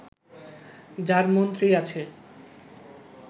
যার মন্ত্রী আছে